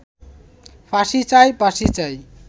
ফাঁসি চাই, ফাঁসি চাই